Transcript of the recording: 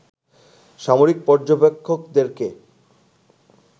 সামরিক পর্যবেক্ষকদেরকে